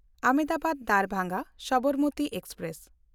ᱟᱦᱚᱢᱫᱟᱵᱟᱫ–ᱫᱟᱨᱵᱷᱟᱝᱜᱟ Sabarmati express